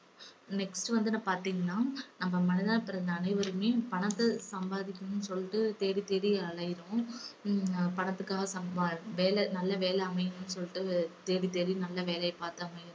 next வந்துனா பாத்தீங்கன்னா நம்ம மனிதனாய் பிறந்த அனைவருமே பணத்த சம்பாதிக்கணும்னு சொல்லிட்டு தேடித்தேடி அலையறோம். ஹம் பணத்துக்காக சம்பா~ வேலை நல்ல வேலை அமையணும்னு சொல்லிட்டு தேடி தேடி நல்ல வேலைய பார்த்து அமையணும்.